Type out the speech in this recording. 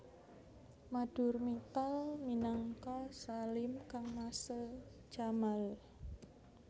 Madhur Mittal minangka Salim kangmasé Jamal